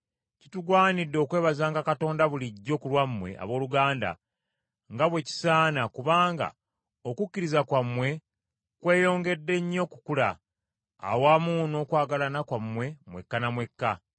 Kitugwanidde okwebazanga Katonda bulijjo ku lwammwe abooluganda, nga bwe kisaana, kubanga okukkiriza kwammwe kweyongedde nnyo okukula, awamu n’okwagalana kwammwe mwekka na mwekka,